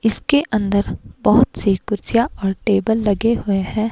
इसके अंदर बहुत सी कुर्सियां और टेबल लगे हुए हैं।